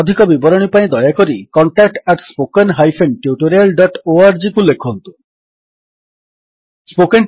ଅଧିକ ବିବରଣୀ ପାଇଁ ଦୟାକରି contact at spoken hyphen tutorial dot ଓଆରଜିକୁ ଲେଖନ୍ତୁ contactspoken tutorialଓଆରଜି